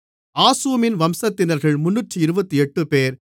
ஆசூமின் வம்சத்தினர்கள் 328 பேர்